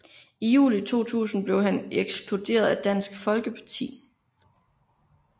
I juli 2000 blev han ekskluderet af Dansk Folkerparti